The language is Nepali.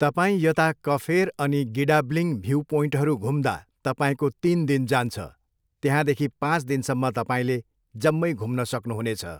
तपाईँ यता कफेर अनि गिडाब्लिङ भ्यु पोइन्टहरू घुम्दा तपाईँको तिन दिन जान्छ, त्यहाँदेखि पाँच दिनसम्म तपाईँले जम्मै घुम्न सक्नुहुनेछ।